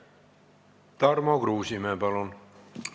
Tarmo Kruusimäe, palun!